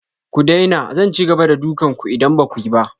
Ku daina! Zan ci gaba da dukan ku idan ba ku yi ba.